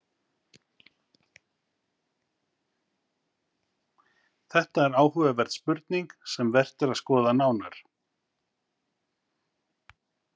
Þetta er áhugaverð spurning sem vert er að skoða nánar.